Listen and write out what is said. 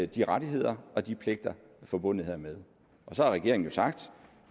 de rettigheder og de pligter forbundet hermed og så har regeringen jo sagt